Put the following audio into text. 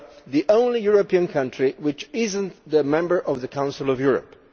the only European country which is not a member of the Council of Europe.